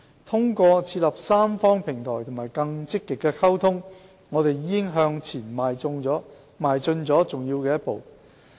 通過設立三方平台和更積極的溝通，我們已向前邁進了重要的一步。